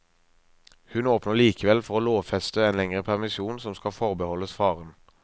Hun åpner likevel for å lovfeste en lengre permisjon som skal forbeholdes faren.